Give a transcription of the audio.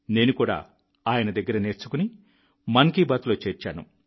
నేను కూడా ఆయన దగ్గర నేర్చుకుని మన్ కీ బాత్లో చేర్చాను